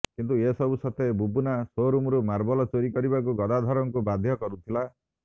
କିନ୍ତୁ ଏସବୁ ସତ୍ତ୍ବେ ବୁବୁନା ସୋରୁମରୁ ମାର୍ବଲ ଚୋରି କରିବାକୁ ଗଦାଧରଙ୍କୁ ବାଧ୍ୟ କରୁଥିଲା